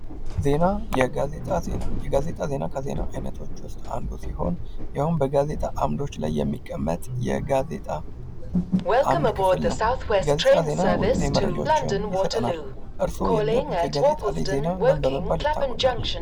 ዜና የጋዜጣ ዜና የጋዜጣ ዜና ከዜና አይነቶች ውስጥ አንዱ ሲሆን ያውም በጋዜጣ አምዶች ላይ የሚቀመጥ የጋዜጣ አምድ ክፍል ነው። የጋዜጣ ዜና ወቅታዊ መረጃዎችን ይሰጠናል። እርስዎ የሚያውቁት የጋዜጣ ላይ ዜና ምን በመባል ይታወቃል?